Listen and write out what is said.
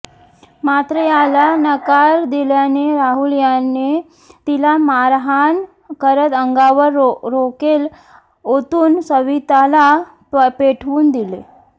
मात्र याला नकार दिल्याने राहुल याने तिला मारहाण करत अंगावर राकेल ओतून सविताला पेटवून दिले